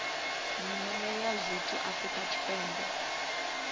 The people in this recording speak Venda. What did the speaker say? nyimele ya zwithu afrika tshipembe